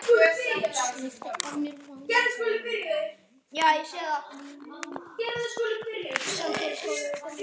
FRAMLAG SERBA